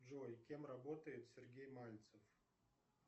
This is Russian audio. джой кем работает сергей мальцев